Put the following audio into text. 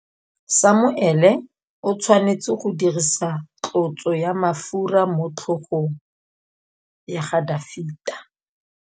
Samuele o tshwanetse go dirisa tlotsô ya mafura motlhôgong ya Dafita.